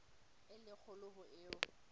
e le kgolo ho eo